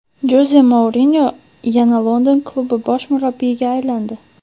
Joze Mourinyo yana London klubi bosh murabbiyiga aylandi.